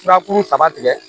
Furakuru caman tigɛ